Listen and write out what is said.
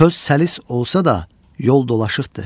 söz səlis olsa da yol dolaşıqdı.